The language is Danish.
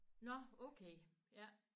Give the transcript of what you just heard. Nåh okay ja